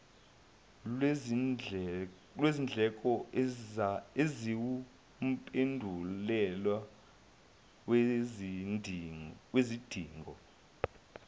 lwezindleko eziwumphumela wezidingo